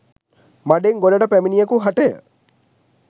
මඩෙන් ගොඩට පැමිණියකු හටය.